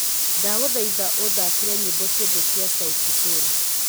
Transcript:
ndagũthaitha ũthakĩre nyĩmbo ciothe cia sauti sol